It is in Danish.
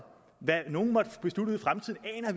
hvad nogen måtte beslutte ud